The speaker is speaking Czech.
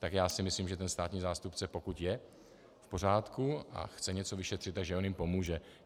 Tak si myslím, že ten státní zástupce, pokud je v pořádku a chce něco vyšetřit, tak že on jim pomůže.